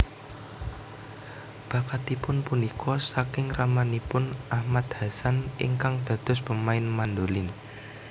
Bakatipun punika saking ramanipun Ahmad Hassan ingkang dados pemain mandolin